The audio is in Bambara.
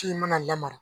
Kin mana lamara